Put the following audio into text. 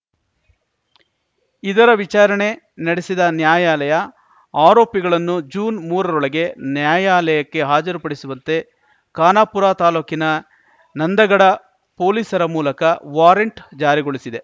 ಇದರ ವಿಚಾರಣೆ ನಡೆಸಿದ ನ್ಯಾಯಾಲಯ ಆರೋಪಿಗಳನ್ನು ಜೂನ್ಮೂರ ರೊಳಗೆ ನ್ಯಾಯಾಲಯಕ್ಕೆ ಹಾಜರುಪಡಿಸುವಂತೆ ಖಾನಾಪುರ ತಾಲೂಕಿನ ನಂದಗಡ ಪೊಲೀಸರ ಮೂಲಕ ವಾರೆಂಟ್‌ ಜಾರಿಗೊಳಿಸಿದೆ